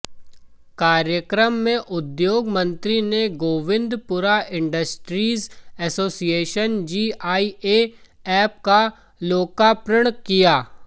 कार्यक्रम में उद्योग मंत्री ने Govindpura industries association GIA app का लोकार्पण किया